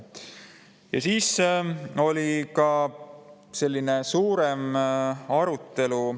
Ja siis oli selline suurem arutelu.